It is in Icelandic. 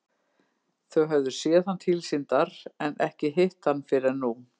Þau höfðu séð hann tilsýndar en ekki hitt hann fyrr en nú.